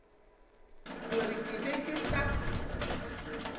gore ke be ke sa